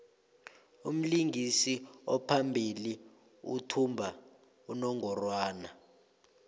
umlingisi ophambili uthumba unongorwand